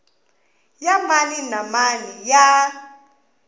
ya mani na mani ya